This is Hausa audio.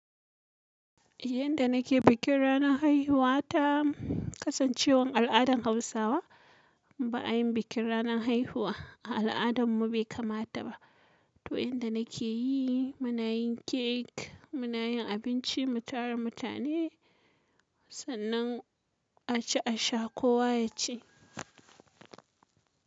Yadda nake bikin ranar haihuwata kasancewan al'adan hausawa ba a yin bikin ranar haihuwa a al'adarmu bai kamata ba. To inda nake yi, muna yin cake, muna yin abinci, mu tara mutane, sannan aci a sha kowa ya ci.